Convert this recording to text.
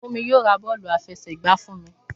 Fúnmi yóò ra bọ́ọ̀lù àfẹsẹ̀gba fún mi.